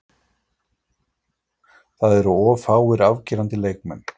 Það eru of fáir afgerandi leikmenn.